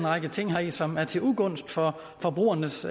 række ting heri som er til ugunst for forbrugernes